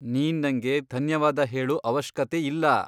ನೀನ್ ನಂಗೆ ಧನ್ಯವಾದ ಹೇಳೂ ಅವಶ್ಕತೆ ಇಲ್ಲ.